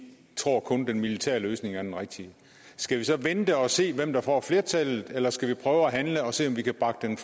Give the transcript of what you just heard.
tror at kun den militære løsning er den rigtige skal vi så vente og se hvem der får flertallet eller skal vi prøve at handle og se om vi kan bakke den